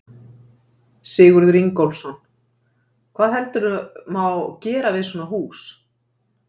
Sigurður Ingólfsson: Hvað heldurðu má gera við svona hús?